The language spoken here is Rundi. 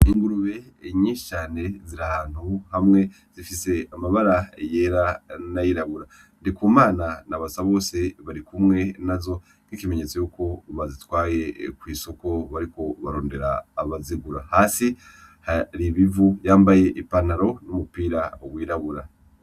Ingurube nyinshi cane ziri ahantu hamwe, zifise amabara yera na yirabura, Ndikumana na Basabose barikumwe nazo nk'ikimenyetso yuko bazitwaye kw'isoko bariko barondera abazigura. Hasi hari ibivu, yambaye i pantaro n'umupira wirabura.